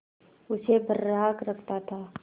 उसे बर्राक रखता था